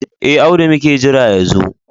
E, Audu muke jira ya zo.